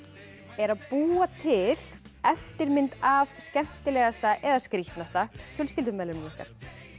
er að búa til eftirmynd af skemmtilegasta eða skrítnasta fjölskyldumeðlimi ykkar